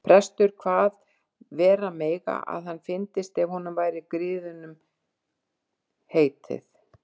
Prestur kvað vera mega að hann fyndist ef honum væri griðum heitið.